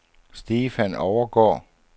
Stefan Overgaard